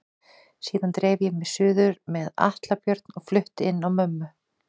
Síðan dreif ég mig suður með Atla Björn og flutti inn á mömmu.